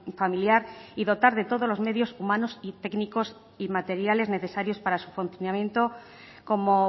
familiar y dotar de todos los medios humanos y técnicos y materiales necesarios para su funcionamiento como